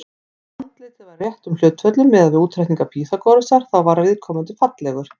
Ef andlitið var í réttum hlutföllum, miðað við útreikninga Pýþagórasar, þá var viðkomandi fallegur.